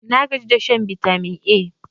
nagaji da shan bitamin A